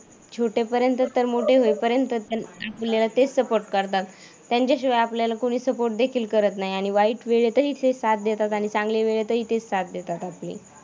त्यांच्याशिवाय आपल्याला कुणी सपोर्ट देखील करत नाही आणि वाईट वेळ येते साथ देतात आणि चांगल्या वेळेतही तेच साथ देतात आपली.